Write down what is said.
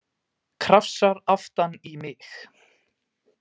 Krafsar aftan í mig.